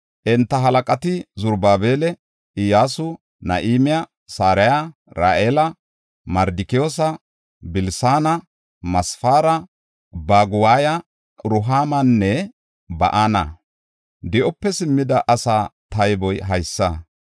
Enta halaqati Zarubaabela, Iyyasu, Nahime, Saraya, Ra7ila, Mardikiyoosa, Bilisaana, Masefaara, Baguwaya, Rehuumanne Ba7ana. Di7ope simmida asaa tayboy haysa.